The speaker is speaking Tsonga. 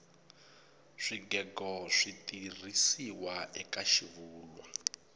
swigego switirhisiwa eka xivulwa